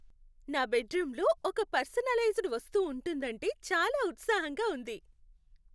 నా బెడ్రూమ్లో ఒక పర్సనలైజ్డ్ వస్తువు ఉంటుందంటే చాలా ఉత్సాహంగా ఉంది.